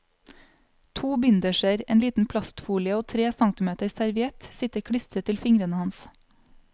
To binderser, en liten plastfolie og tre centimeter serviett sitter klistret til fingrene hans.